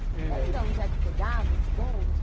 Você lembra onde é que pegava esse bonde?